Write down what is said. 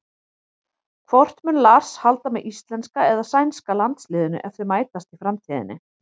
Hvort mun Lars halda með íslenska eða sænska landsliðinu ef þau mætast í framtíðinni?